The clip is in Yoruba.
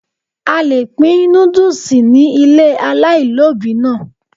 A le pín núdùsì ni ilé aláìlóbìí náà.